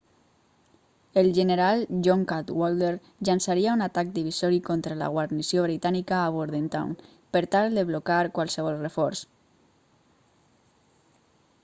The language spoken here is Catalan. el general john cadwalder llançaria un atac divisori contra la guarnició britànica a bordentown per tal de blocar qualsevol reforç